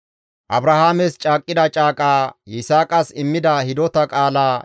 Abrahaames caaqqida caaqaa, Yisaaqas immida hidota qaalaa,